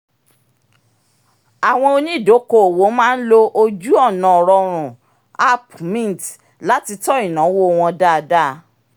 àwọn onídokoowó máa ń lo ojú-ọ̀nà rọrùn app mint láti tọ́ ináwó wọn dáadáa